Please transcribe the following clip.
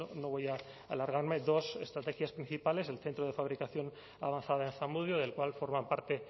no voy a alargarme dos estrategias principales el centro de fabricación avanzada en zamudio del cual forman parte